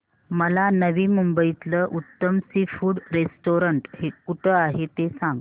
मला नवी मुंबईतलं उत्तम सी फूड रेस्टोरंट कुठे आहे ते सांग